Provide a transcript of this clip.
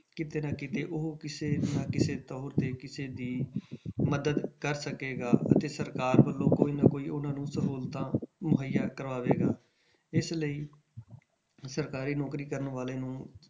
ਕਿਤੇ ਨਾ ਕਿਤੇ ਉਹ ਕਿਸੇ ਨਾ ਕਿਸੇ ਦੌਰ ਤੇ ਕਿਸੇ ਦੀ ਮਦਦ ਕਰ ਸਕੇਗਾ ਅਤੇ ਸਰਕਾਰ ਵੱਲੋਂ ਕੋਈ ਨਾ ਕੋਈ ਉਹਨਾਂ ਨੂੰ ਸਹੂਲਤਾਂ ਮੁਹੱਈਆ ਕਰਾਵੇਗਾ ਇਸ ਲਈ ਸਰਕਾਰੀ ਨੌਕਰੀ ਕਰਨ ਵਾਲੇ ਨੂੰ,